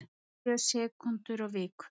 Sjö sekúndur á viku